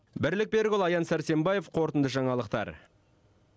бірлік берікұлы аян сәрсенбаев қорытынды жаңалықтар